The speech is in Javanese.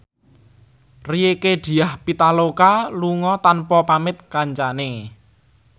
Rieke Diah Pitaloka lunga tanpa pamit kancane